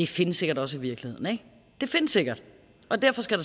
findes sikkert også i virkeligheden det findes sikkert og derfor skal